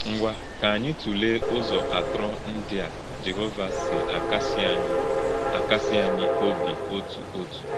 Ngwá̄, kà ànyị̄ tụ̀lè̄ Ụ́zọ̄ átrọ̀ ndị́ à Jèhòvá̄ sì̄ àkàsị̀ ànyị̄ àkàsị̀ ànyị̄ ọ́bì ọ̀tụ̀ ọ̀tụ̀.